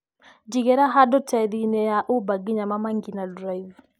Njĩgĩra handũ tegithĨ-inĩ ya Uber nginya Mama Ngina drive